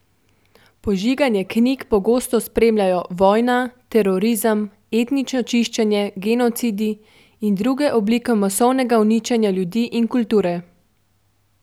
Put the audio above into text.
Požiganje knjig pogosto spremljajo vojna, terorizem, etnično čišenje, genocidi in druge oblike masovnega uničenja ljudi in kulture.